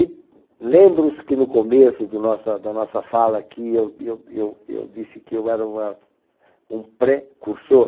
E lembram-se que no começo do nossa da nossa fala aqui, eu eu eu eu disse que eu era uma um precursor.